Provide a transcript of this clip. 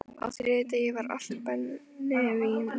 Á þriðja degi var allt brennivín búið.